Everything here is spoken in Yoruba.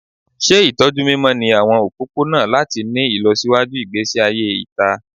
Ṣe itọju mimọ ni awọn opopona lati ni ilọsiwaju igbesi aye ita